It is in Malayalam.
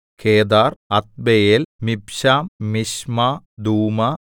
Kedar Adbeel Mibsam Mishma Dumah